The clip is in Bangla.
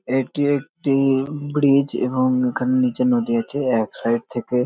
এটি একটি ব্রিজ এবং এখানে নিচে নদী আছে এক সাইড থেকে।